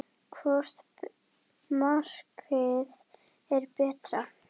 Hvort markið er betra?